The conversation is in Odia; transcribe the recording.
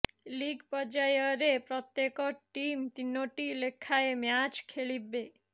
ଲିଗ୍ ପର୍ଯ୍ୟାୟରେ ପ୍ରତ୍ୟେକ ଟିମ୍ ତିନୋଟି ଲେଖାଏଁ ମ୍ୟାଚ ଖେଳିବେ